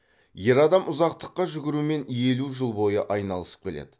ер адам ұзақтыққа жүгірумен елу жыл бойы айналысып келеді